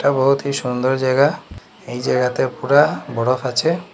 বহুতই সুন্দর জায়গা এই জায়গাতে পুরা বরফ আছে।